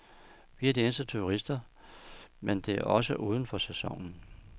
Vi er de eneste turister, men det er også uden for sæsonen.